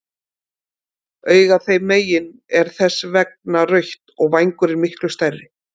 Augað þeim megin er þess vegna rautt og vængurinn miklu stærri.